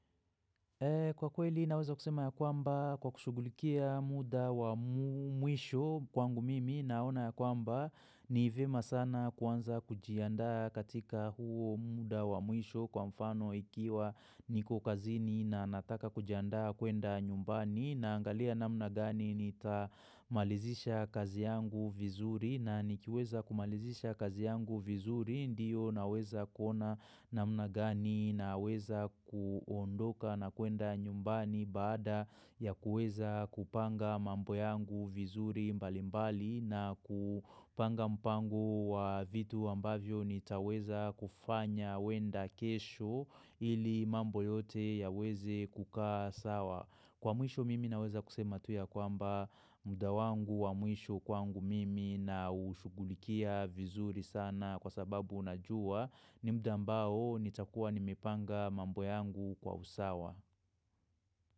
Kwa kweli naweza kusema ya kwamba kwa kushugulikia muda wa mwisho kwangu mimi naona ya kwamba ni vyema sana kwanza kujianda katika huo muda wa mwisho kwa mfano ikiwa niko kazini na nataka kujiandaa kuenda nyumbani na angalia na mnagani nitamalizisha kazi yangu vizuri na nikiweza kumalizisha kazi yangu vizuri ndiyo naweza kuona namna gani naweza kuondoka na kuenda nyumbani baada ya kueza kupanga mambo yangu vizuri mbalimbali na kupanga mpango wa vitu ambavyo nitaweza kufanya wenda kesho ili mambo yote ya weze kukaa sawa. Kwa mwisho mimi naweza kusema tuya kwamba muda wangu wa mwisho kwangu mimi na ushugulikia vizuri sana na kwa sababu unajua ni muda ambao nitakuwa nimipanga mambo yangu kwa usawa.